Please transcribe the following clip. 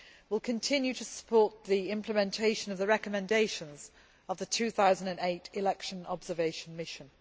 We will continue to support the implementation of the recommendations of the 2008 election observation mission.